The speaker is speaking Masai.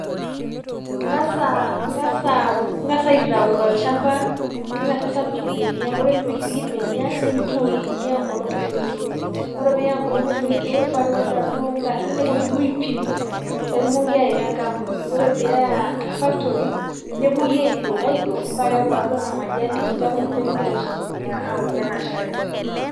Ing'as ah Ing'as au Ing'as aitayu tolchamba ning'asing'asa apik ilbenia ore pee ipikipiki ilbenia, nintoi nayeu enkolong metoito, ore pee iyaya enkolong metoito, pakewuonu taa duo ingarin, nepuonuni aipin, petumoki awaita enkambuni, ore peeya factory newuoi aidong aidong, paa keaku taa duo ena majani, neaku ninche kigira oshi aitumia aokie anaa shai.